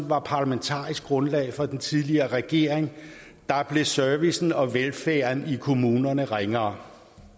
var parlamentarisk grundlag for den tidligere regering blev servicen og velfærden i kommunerne ringere